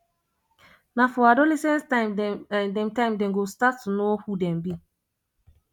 na for adolescence time dem time dem go start to know who dem be